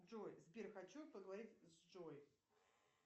джой сбер хочу поговорить с джой